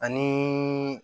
Ani